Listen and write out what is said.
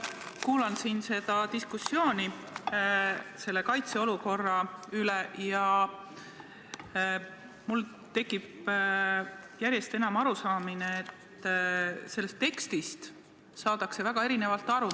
Kuulan siin seda diskussiooni kaitseolukorra üle ja mul tekib järjest enam arusaamine, et sellest tekstist saadakse väga erinevalt aru.